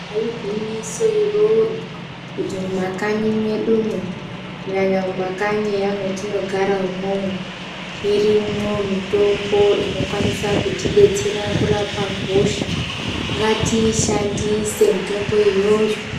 Igwinyiso iroro kuti mumakanyi medumwo kunyanya mumakanyi eya mwetinogara umwomwo irimwo mitombo inokwanisa kutidetsera kurapa hosha ngatiishandise mitombo iyoyo.